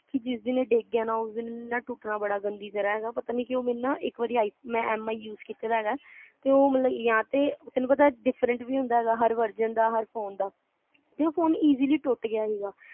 ਕੇ ਜਿਸ ਦਿਨ ਇਹ ਡਿੱਗ ਗਿਆ ਨਾ ਉਸ ਦਿਨ ਮੈਂ ਟੁੱਟਣਾ ਬੜੀ ਗੰਦੀ ਤਰ੍ਹਾਂ ਐ ਪਤਾ ਨੀ ਕਿਊ ਮੈਨੂੰ ਨਾ ਇਕ ਵਾਰੀ ਮੈਂ mi use ਕੀਤੇ ਦਾ ਤੇ ਉਹ ਮਤਲਬ ਜਾਂ ਤੇ ਤੈਨੂੰ ਪਤਾ different ਵੀ ਹੁੰਦਾ ਹੈਗਾ ਹਰ version ਹਰ phone ਦਾ ਤੇ ਉਹ ਫੋਨ easily ਟੁੱਟ ਗਿਆ ਹਿਗਾ